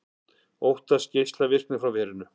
Óttast geislavirkni frá verinu